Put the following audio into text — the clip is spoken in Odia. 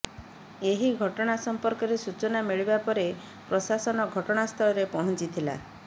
ଏହି ଘଟଣା ସମ୍ପର୍କରେ ସୂଚନା ମିଳିବା ପରେ ପ୍ରଶାସନ ଘଟଣାସ୍ଥଳରେ ପହଞ୍ଚିଥିଲା